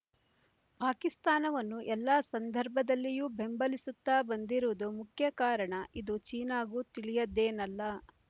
ಪಾಕಿಸ್ತಾನವನ್ನು ಎಲ್ಲ ಸಂದರ್ಭದಲ್ಲಿಯೂ ಬೆಂಬಲಿಸುತ್ತಾ ಬಂದಿರುವುದು ಮುಖ್ಯ ಕಾರಣ ಇದು ಚೀನಾಗೂ ತಿಳಿಯದ್ದೇನಲ್ಲ